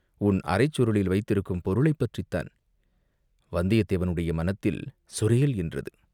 "உன் அரைச் சுருளில் வைத்திருக்கும் பொருளைப் பற்றித்தான்." வந்தியத்தேவனுடைய மனத்தில் "சொரேல்" என்றது.